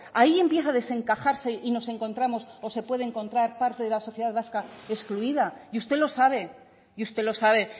hay empieza a desencajarse y nos encontramos o se puede encontrar parte de la sociedad vasca excluida y usted lo sabe y usted lo sabe